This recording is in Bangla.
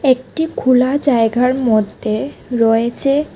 একটি খুলা জায়গার মধ্যে রয়েছে।